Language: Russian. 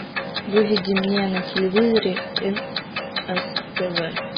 выведи мне на телевизоре нств